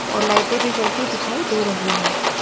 और लाइटें भी जलती दिखाई दे रही है।